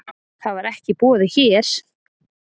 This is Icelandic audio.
Það var ekki í boði hér.